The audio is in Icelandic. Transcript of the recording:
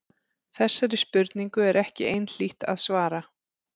Þessari spurningu er ekki einhlítt að svara.